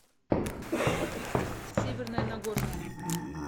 северное нагорное